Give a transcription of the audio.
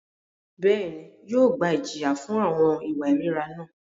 Bẹ́ẹ̀ni, yóò gba ijiya fun awọn iwa irira náà.